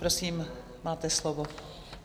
Prosím, máte slovo.